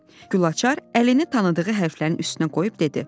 Gülaçar əlini tanıdığı hərflərin üstünə qoyub dedi: